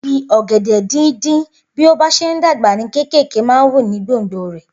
Igi ogede dín dín bí o bá ṣe n dàgbà ní kékèké man wù ní gbòngbò rè